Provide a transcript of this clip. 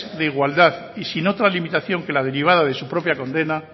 de igualdad y sin otra limitación que la derivada de su propia condena